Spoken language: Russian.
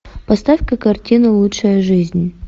поставь ка картину лучшая жизнь